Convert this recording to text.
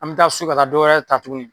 An be taa so ka taa dɔwɛrɛ ta tuguni.